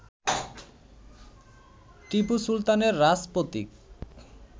টিপু সুলতানের রাজপ্রতীক